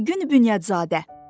Aygün Bünyadzadə.